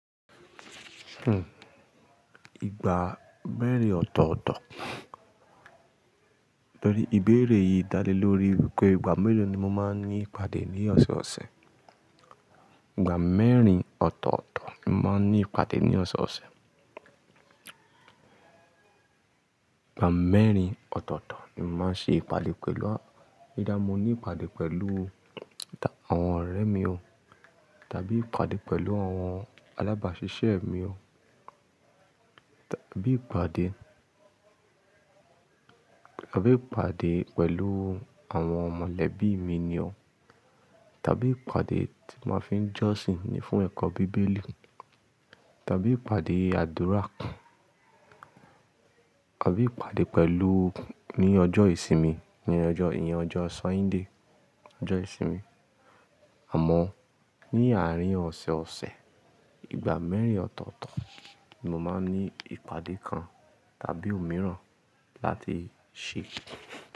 Hmm. Igba mẹ́rin ọ̀tọ̀ọ̀tọ̀. Lọrí ìbéèrè yìí dá lé lórí wípé ìgbà mélòó ni mo máa ń ní ìpàdé ní ọ̀sẹ̀ẹ̀ ọ̀sẹ̀. Ìgbà mẹ́rin ọ̀tọ̀ọ̀tọ̀ ni mo máa ń ní ìpàdé ní ọ̀sẹ̀ẹ̀ ọ̀sẹ̀. Ìgbà mẹ́rin ọ̀tọ̀ọ̀tọ̀ ni mo máa ń ṣe ìpàdé pẹ̀lú a-- nígbà mo ní ìpàdé pẹ̀lú àwọn ọ̀rẹ́ mi o, tàbí ìpàdé pẹ̀lú àwọn alábàásisẹ́ mi o, tàbí ìpàdé, tàbí ìpàdé pẹ̀lú àwọn mọ̀lẹ́bí mi ni o, tàbí ìpàdé tí mo fi ń jọ́sìn ni fún ẹ̀kọ́ bíbélì, tàbí ìpàdé àdúrà, tàbí ìpàdé pẹ̀lú ní ọjọ́ ìsinmi, ní ọjọ́ ì-- ní ọjọ́ Sọ́índé, ọjọ́ ìsinmi. Àmọ́ ní àárín ọ̀sẹ̀ẹ̀ ọ̀sẹ̀, ìgbà mẹ́rin ọ̀tọ̀ọ̀tọ̀ ni mo máa ń ní ìpàdé kan tàbí òmíràn láti ṣe.